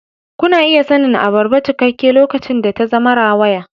Kuna iya sanin abarba cikakke lokacin da ta zama rawaya.